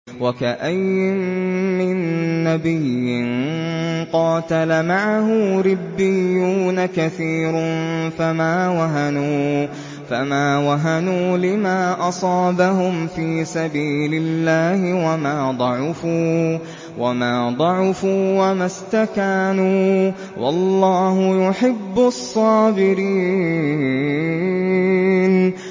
وَكَأَيِّن مِّن نَّبِيٍّ قَاتَلَ مَعَهُ رِبِّيُّونَ كَثِيرٌ فَمَا وَهَنُوا لِمَا أَصَابَهُمْ فِي سَبِيلِ اللَّهِ وَمَا ضَعُفُوا وَمَا اسْتَكَانُوا ۗ وَاللَّهُ يُحِبُّ الصَّابِرِينَ